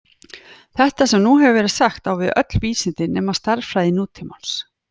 Þetta sem nú hefur verið sagt á við öll vísindi nema stærðfræði nútímans.